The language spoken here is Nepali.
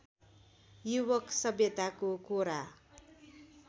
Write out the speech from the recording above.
युवक सभ्यताको कोरा